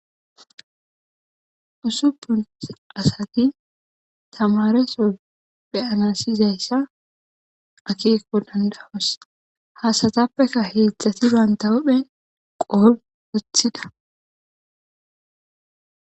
Usuphphun asati tamaresso be'anas yizayissa akkekko danida'os ha asatappe hedzdzati banththa huppen c'o uththida.